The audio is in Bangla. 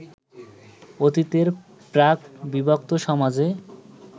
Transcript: অতীতের প্রাক-বিভক্ত সমাজে